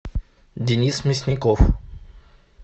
денис мясников